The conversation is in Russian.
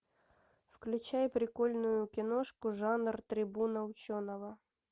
включай прикольную киношку жанр трибуна ученого